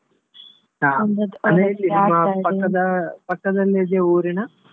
ಹ ಪಕ್ಕದ ಪಕ್ಕದಲ್ಲಿ ಇದೆಯಾ ಊರಿನ?